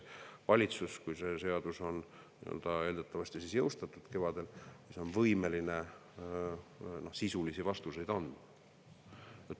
Valitsus, kui see seadus on kevadel eeldatavasti jõustatud, on loodetavasti võimeline sisulisi vastuseid andma.